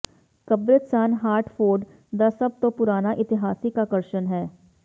ਕਬਰਸਤਾਨ Hartford ਦਾ ਸਭ ਤੋਂ ਪੁਰਾਣਾ ਇਤਿਹਾਸਿਕ ਆਕਰਸ਼ਣ ਹੈ